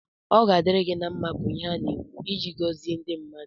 Ọ ga-adịri gi na mma bu ihe ana-ekwu ịji gọzi ndị mmadụ